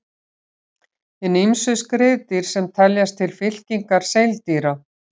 Hin ýmsu skriðdýr sem teljast til fylkingar seildýra.